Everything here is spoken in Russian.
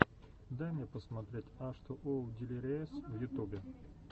дай мне посмотреть аш ту оу дилириэс в ютубе